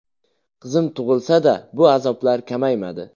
Qizim tug‘ilsa-da, bu azoblar kamaymadi.